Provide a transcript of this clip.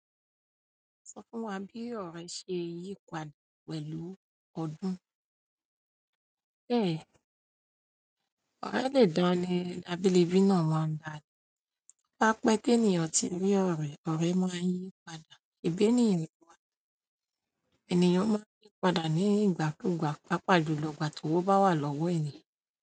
Sọ fún wa bí ọ̀rẹ́ ṣe yípadà pẹ̀lú ọdún. Bẹ́ẹ̀, ọ̀rẹ́ le dán ni ábílìbí náà máa ń dà. Bá pé ti ènìyàn ti rí ọ̀rẹ́, ọ̀rẹ́ máa ń yípadà. Ìbè ní ìwà, ènìyàn máa ń yípadà ní ìgbàkúùgbà, pàápàá jùlọ ìgbà tí ówo bá wà lọ́wọ́ ènìyàn.